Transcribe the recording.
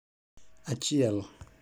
Achiel